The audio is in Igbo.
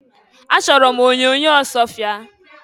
Achọrọ m onyoonyo Ọsụọfịa.